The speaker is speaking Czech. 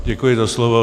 Děkuji za slovo.